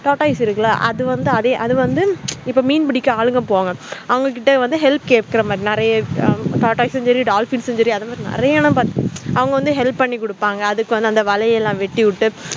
tata ace இருக்குல அது வந்து இப்ப மீன் புடிக்க ஆளுங்க போவாங்க அவங்க கிட்ட help கேக்குறமாதிரி நெறைய tata ace செரி dolphin செரிஅவங்க வந்து help பண்ணி குடுப்பாங்க அதுக்கு வந்து வளையலாம் வெட்டி விட்டு